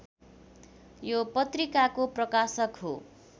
यो पत्रिकाको प्रकाशक हो।